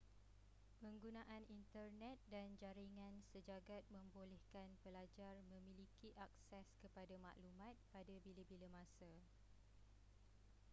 penggunaan internet dan jaringan sejagat membolehkan pelajar memiliki akses kepada maklumat pada bila-bila masa